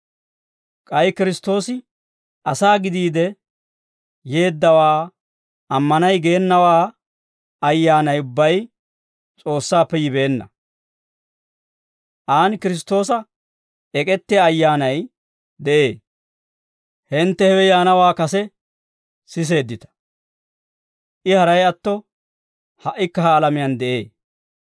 K'ay Kiristtoosi asaa gidiide yeeddawaa ammanay geenawaa ayyaanay ubbay S'oossaappe yibeenna; aan Kiristtoosa ek'ettiyaa ayyaanay de'ee. Hintte hewe yaanawaa kase siseeddita; I haray atto ha"ikka ha alamiyaan de'ee.